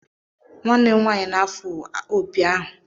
Nwanne m nwanyi na-afụ opi ahụ.